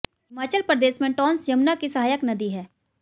हिमाचल प्रदेश में टोंस यमुना की सहायक नदी है